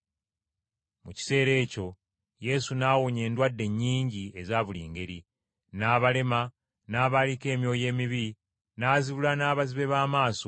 Mu kiseera ekyo Yesu n’awonya endwadde nnyingi eza buli ngeri: n’abalema, n’abaaliko emyoyo emibi, n’azibula n’abazibe b’amaaso.